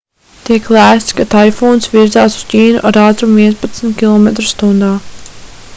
tiek lēsts ka taifūns virzās uz ķīnu ar ātrumu vienpadsmit km/h